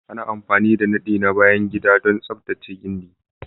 Ana amfani da nadi na bayan gida don tsaftace gindi